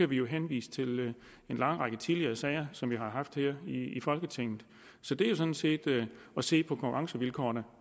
vi henvise til en lang række tidligere sager som vi har haft her i folketinget så det er sådan set at se på konkurrencevilkårene